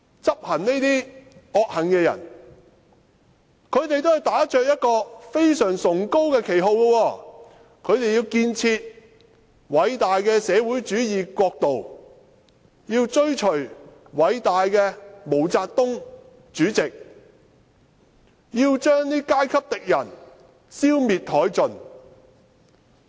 執行這些惡行的人，他們都是打着一個非常崇高的旗號，他們要建設偉大的社會主義國度，要追隨偉大的毛澤東主席，要將階級敵人消滅殆盡。